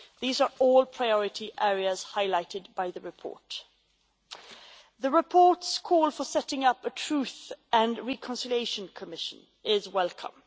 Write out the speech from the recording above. These are all priority areas highlighted by the report. The report's call for setting up a truth and reconciliation commission is welcome.